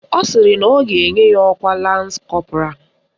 Ọ sịrị na ọ ga-enye ya ọkwa Lans Kọpụral